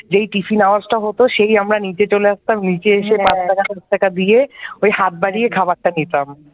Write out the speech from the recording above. যেই tiffin hours হতো সেই আমার নিচে চলে আসতাম নিচে এসে পাঁচ টাকা দশ টাকা দিয়ে ওই হাত বাড়িয়ে খাবারটা নিতাম ।